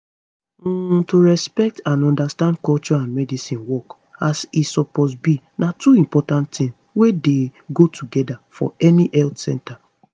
um to respect and understand culture and medicine work as e suppose be na two important tings wey dey go together for any health center